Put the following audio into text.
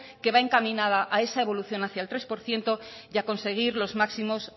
que va encaminada a esa evolución hacia el tres por ciento y a conseguir los máximos